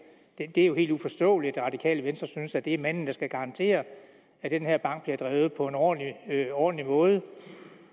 det er jo helt uforståeligt at det radikale venstre synes at det er manden der skal garantere at den her bank bliver drevet på en ordentlig ordentlig måde